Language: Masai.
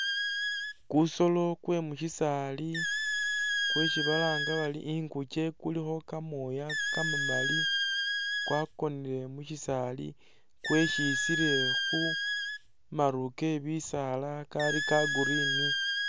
Kusoolo kwe musisaali kwesi balanga bari ingukye kulikho kamooya kamamali ,kwakonele mushisaali kweshisile khumaru ke bisaala kali ka green